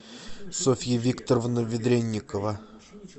софья викторовна ведренникова